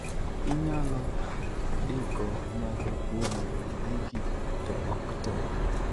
Inyalo diko moko kuom gigi to ok tee.